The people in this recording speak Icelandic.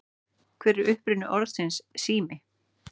Hver er uppruni orðsins sími?